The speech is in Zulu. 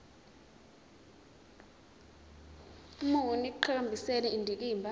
muni ekuqhakambiseni indikimba